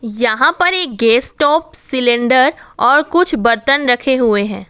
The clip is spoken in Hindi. यहां पर एक गैस टॉप सिलेंडर और कुछ बर्तन रखे हुए हैं।